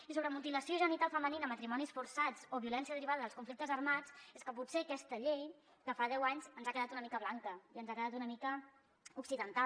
i sobre mutilació genital femenina matrimonis forçats o violència derivada dels conflictes armats és que potser aquesta llei de fa deu anys ens ha quedat una mica blanca i ens ha quedat una mica occidental